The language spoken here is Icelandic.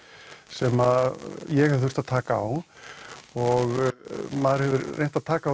sem ég hef þurft að taka á og maður hefur reynt að taka á